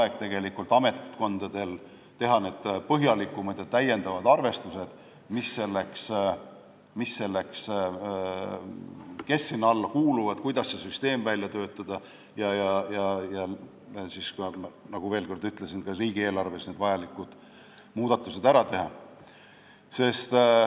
See on tegelikult piisav aeg ametkondadele, et teha põhjalikud täiendavad arvestused, kes sinna alla kuuluvad ja kuidas see süsteem välja töötada, ning, veel kord ütlen, ka riigieelarves vajalikud muudatused ära teha.